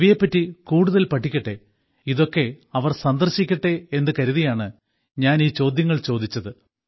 ഇവയെപ്പറ്റി കൂടുതൽ പഠിക്കട്ടെ ഇതൊക്കെ പോയി കാണട്ടെ എന്നു കരുതിയാണ് ഞാൻ ഈ ചോദ്യങ്ങൾ ചോദിച്ചത്